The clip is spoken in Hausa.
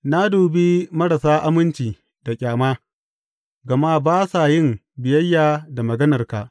Na dubi marasa aminci da ƙyama, gama ba sa yin biyayya da maganarka.